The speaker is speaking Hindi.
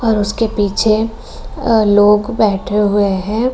और उसके पीछे अन् लोग बैठे हुए हैं |